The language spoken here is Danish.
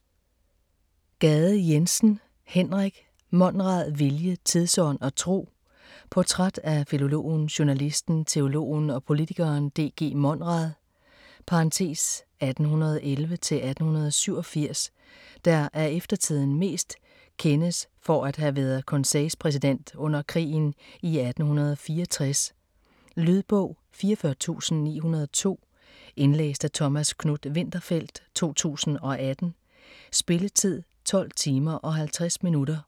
Gade Jensen, Henrik: Monrad: vilje, tidsånd og tro Portræt af filologen, journalisten, teologen og politikeren D.G. Monrad (1811-1887), der af eftertiden mest kendes for at have været konseilspræsident under krigen i 1864. Lydbog 44902 Indlæst af Thomas Knuth-Winterfeldt, 2018. Spilletid: 12 timer, 50 minutter.